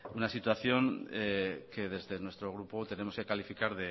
una situación que desde nuestro grupo tenemos que calificar